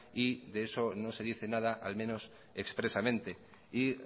y de eso no se dice nada al menos expresamente y